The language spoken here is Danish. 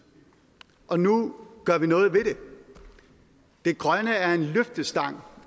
og nu gør vi noget ved det det grønne er en løftestang